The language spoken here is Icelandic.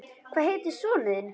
Hvað heitir sonur þinn?